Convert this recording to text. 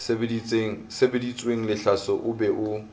sebeditsweng lehlaso o be o